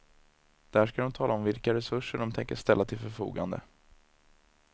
Där ska de tala om vilka resurser de tänker ställa till förfogande.